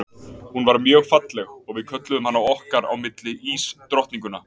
Hún var mjög falleg og við kölluðum hana okkar á milli ísdrottninguna.